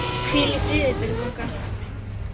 Hvíl í friði, Björg okkar.